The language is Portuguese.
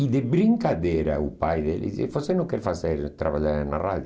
E de brincadeira o pai dele disse, você não quer fazer trabalhar na rádio?